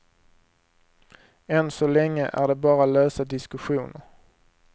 Än så länge är det bara lösa diskussioner.